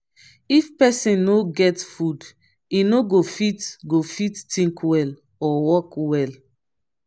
if pesin no get food e no go fit go fit think well or work well.